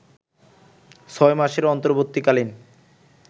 ছয় মাসের অন্তর্বর্তীকালীন